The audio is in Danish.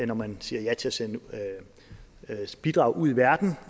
når man siger ja til at sende bidrag ud i verden